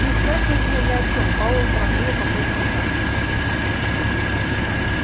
не спрашивай меня ни о чем пауэлл торопливо пополз назад